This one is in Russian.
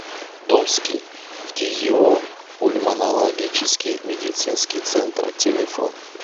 томский фтизиопульмонологический медицинский центр телефон